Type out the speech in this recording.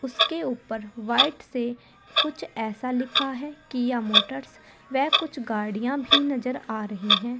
उसके ऊपर व्हाइट से कुछ ऐसा लिखा है किया मोटर्स व कुछ गाड़ियां भी नजर आ रही हैं।